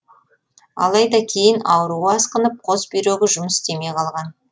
алайда кейін ауруы асқынып қос бүйрегі жұмыс істемей қалған